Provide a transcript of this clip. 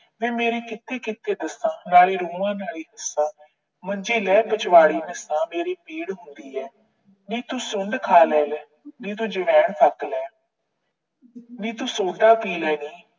ਵੇ ਮੇਰੇ ਕਿੱਥੇ ਕਿੱਥੇ ਦੱਸਾ, ਨਾਲੇ ਰੋਵਾਂ ਨਾਲੇ ਹੱਸਾ। ਮੰਜੇ ਲੈ ਪਿਛਵਾੜੇ ਹੱਸਾ, ਮੇਰੇ ਪੀੜ ਹੁੰਦੀ ਆ। ਨੀ ਤੂੰ ਸੁੰਢ ਖਾ ਲੈ, ਨੀ ਤੂੰ ਜਵੈਣ ਫੱਕ ਲੈ। ਨੀ ਤੂੰ ਸੋਡਾ ਪੀ ਲੈ ਨੀ